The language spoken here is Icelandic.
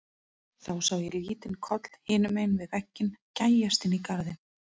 Þá sá ég lítinn koll hinum megin við vegginn gægjast inn í garðinn.